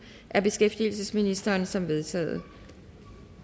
af beskæftigelsesministeren som vedtaget